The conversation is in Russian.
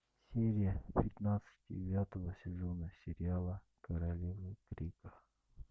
серия пятнадцать девятого сезона сериала королевы крика